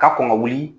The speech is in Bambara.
Ka kɔn ka wuli